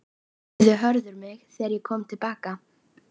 spurði Hörður mig þegar ég kom til baka.